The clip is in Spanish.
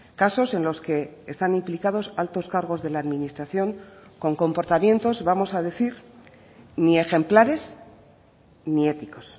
casos en los que están implicados altos cargos de la administración con comportamientos vamos a decir ni ejemplares ni éticos